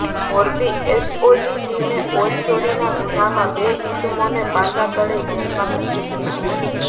Morbi SOG ટીમે oil ચોરીના ગુન્હામાં બે ઇસમોને પાસા તળે જેલમાં ધકેલ્યા